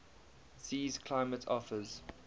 sea's climate offers